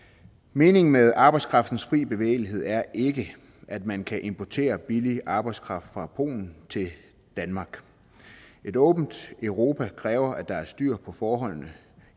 meningen med arbejdskraftens fri bevægelighed er ikke at man kan importere billig arbejdskraft fra polen til danmark et åbent europa kræver at der er styr på forholdene